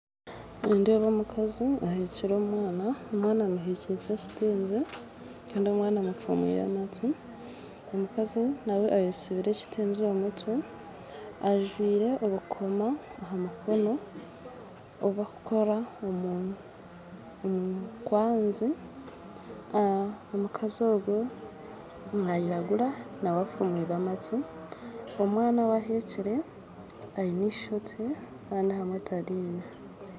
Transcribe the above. Nindeeba omukazi ahekire omwana, omwana amuhekize ekitengye kandi omufumwire amatu omukazi naawe ayetsibire ekitengye omu mutwe ajwire obukoomo omu mukono obu bakukora omukwanzi omukazi ogwo nayiragura naawe afumwire amatu omwana owaheekire aine eishookye kandi ahamwe taryine